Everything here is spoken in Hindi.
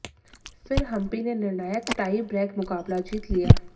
फिर हम्पी ने निर्णायक टाई ब्रेक मुकाबला जीत लिया